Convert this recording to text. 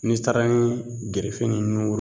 N'i taara ni gerefe ni nugun